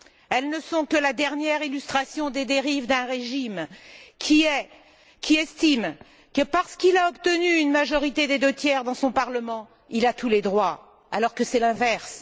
Elles ne sont que la dernière illustration des dérives d'un régime qui estime que, parce qu'il a obtenu une majorité des deux tiers dans son parlement, il a tous les droits, alors que c'est l'inverse.